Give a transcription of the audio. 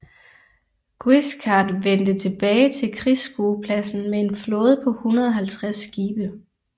Guiscard vendte tilbage til krigsskuepladsen med en flåde på 150 skibe